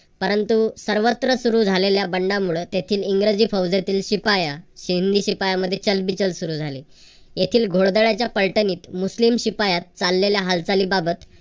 परंतु सर्वत्र सुरू झालेल्या बंडामुळे येथील इंग्रजी फौजेतील शिपाया हिंदी शिपायांनमध्ये चलबिचल सुरू झाली. येथील घोडदळाच्या फलटणीत मुस्लिम शिपायात चाललेल्या हालचाली बाबत